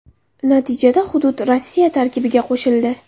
Natijada hudud Rossiya tarkibiga qo‘shildi.